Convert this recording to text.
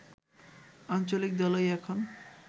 আঞ্চলিক দলই এখনও